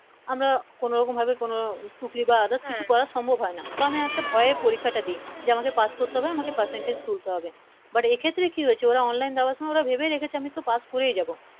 আমরা কোন ভাবে কোন টুকলি বা Other কিছু করা সম্ভব হয় না বা আমি একটা ভয়ে একটা পরিক্ষা দি আমাকে Pass করতে হবে আমাকে Percentage তুলতে হবে But এই ক্ষেত্রে কি হয়েছে ওরা Online যাওয়ার সময় ভেবে রেখেছে আমি তো Pass করেই যাবো